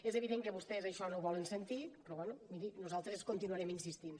és vident que vostès això no ho volen sentir però bé miri nosaltres hi continuarem insistint